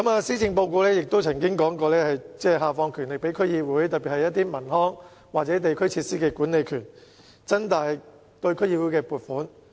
施政報告亦曾經提到會下放權力予區議會，特別是一些文康或地區設施的管理權，以及增加對區議會的撥款。